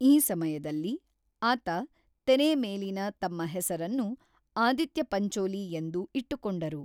ಈ ಸಮಯದಲ್ಲಿ, ಆತ ತೆರೆಮೇಲಿನ ತಮ್ಮ ಹೆಸರನ್ನು ಆದಿತ್ಯ ಪಂಚೋಲಿ ಎಂದು ಇಟ್ಟುಕೊಂಡರು.